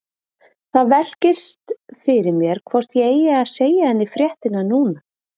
Það velkist fyrir mér hvort ég eigi að segja henni fréttirnar núna.